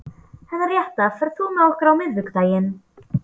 Henrietta, ferð þú með okkur á miðvikudaginn?